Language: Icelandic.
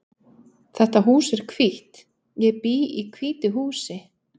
Þetta hús er hvítt. Ég bý í hvítu húsi.